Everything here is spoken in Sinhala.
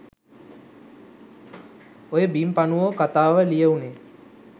ඔය බිම් පණුවෝ කතාව ලියවුනේ